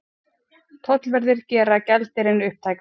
Tollverðir gera gjaldeyrinn upptækan